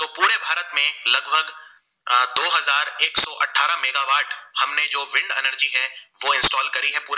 हमने जो wind energy है वो install करी है पुरे